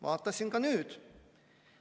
Vaatasin ka nüüd.